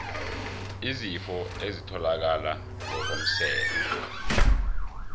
izifo ezitholakala ngokomseme